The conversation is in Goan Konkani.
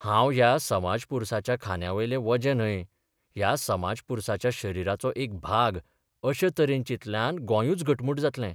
हांब ह्या समाजपुरसाच्या खांद्यावेलें वजें न्हय, ह्या समाजपुरसाच्या शरिराचो एक भाग अशे तरेन चिंतल्यान गोंयूच घटमूट जातलें.